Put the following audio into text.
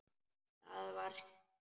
Það var skítt.